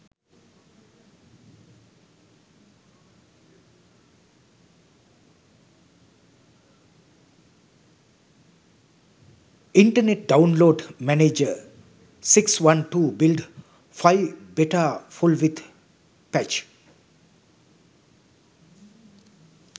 internet download manager 6 12 build 5 beta full with patch